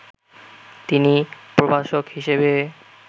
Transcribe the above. তিনি প্রভাষক হিসেবে